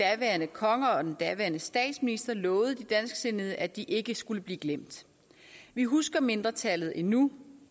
konge og den daværende statsminister lovede de dansksindede at de ikke skulle blive glemt vi husker mindretallet endnu